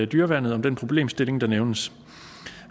dyreværnet om den problemstilling der nævnes